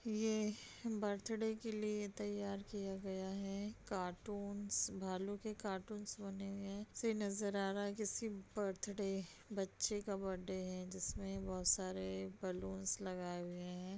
ये बर्थडे के लिए तैयार किया गया है। कार्टून्स भालू के कार्टून्स बने हुए है से नजर आ रहा है किसी बर्थडे बच्चे का बर्थडे है जिसमे बोहोत सारे बलूंस लगाए हुए हैं।